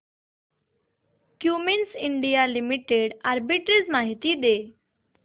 Cummins India Limited arbitrage माहिती दे